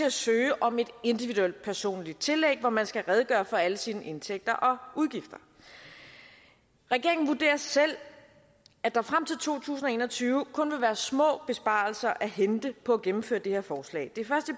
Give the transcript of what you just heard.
at søge om et individuelt personligt tillæg hvor man skal redegøre for alle sine indtægter og udgifter regeringen vurderer selv at der frem til to tusind og en og tyve kun vil være små besparelser at hente på at gennemføre det her forslag det